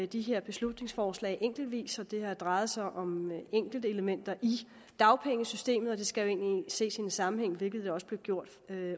de her beslutningsforslag enkeltvis og de har drejet sig om enkeltelementer i dagpengesystemet og de skal jo egentlig ses i en sammenhæng hvilket også blev gjort